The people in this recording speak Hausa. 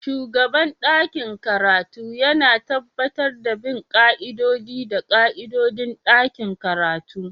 Shugaban ɗakin karatu yana tabbatar da bin ƙa'idodi da ƙa'idodin ɗakin karatu